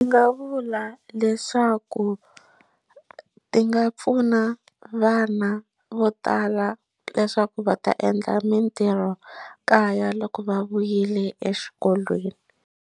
Ni nga vula leswaku ti nga pfuna vana vo tala leswaku va ta endla mintirhokaya loko va vuyile exikolweni.